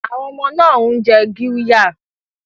Àwọn ọmọ náà ń jẹ qirya